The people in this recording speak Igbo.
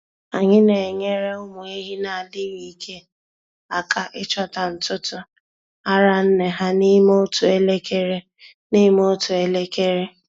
Anyị na-enyere ụmụ ehi na-adịghị ike aka ịchọta ntutu ara nne ha n'ime otu elekere. n'ime otu elekere.